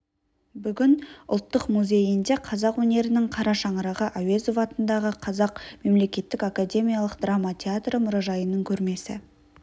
бүгін ұлттық музейінде қазақ өнерінің қара шаңырағы әуезов атындағы қазақ мемлекеттік академиялық драма театры мұражайының көрмесі